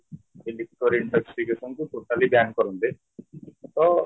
different ଅଛି totally ban କରନ୍ତେ ତ